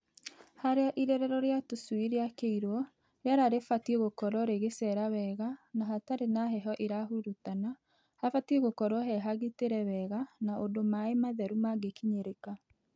Harĩa irerero rĩa tũcui rĩakĩirwo rĩera rĩbatiĩ gũkorwo rĩgĩcera wega na hatarĩ na heho ĩrahurutana , habatiĩ gũkorwo he hagitĩre wega na ũndũ maaĩ matheru mangĩkinyĩrĩka.